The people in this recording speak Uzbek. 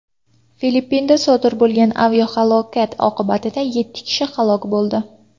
Filippinda sodir bo‘lgan aviahalokat oqibatida yetti kishi halok bo‘ldi.